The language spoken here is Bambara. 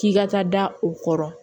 K'i ka taa da o kɔrɔ